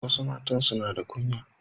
Wasu matan suna da kunya.